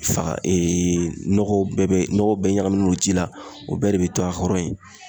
Faga nɔgɔ bɛɛ nɔgɔ bɛɛ ɲagaminnen don ji la ,o bɛɛ de be to a kɔrɔ yen.